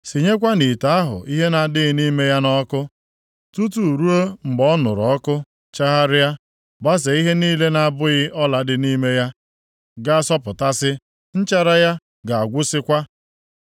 Sinyekwanụ ite ahụ ihe na-adịghị nʼime ya nʼọkụ, tutu ruo mgbe ọ nụrụ ọkụ, chagharịa, gbazee ihe niile na-abụghị ọla dị nʼime ya ga-asọpụtasị, nchara ya ga-agwụsịkwa.